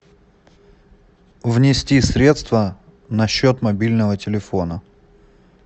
внести средства на счет мобильного телефона